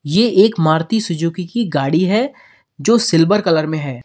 ये एक मारुति सुजुकी की गाड़ी है जो सिल्वर कलर में है।